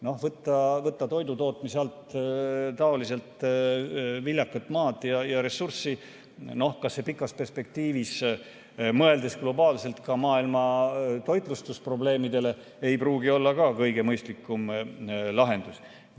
Noh, võtta toidu tootmise alt ära viljakat maad ja ressurssi, see pikas perspektiivis, mõeldes globaalselt ka maailma toitlustusprobleemidele, ei pruugi olla kõige mõistlikum lahendus.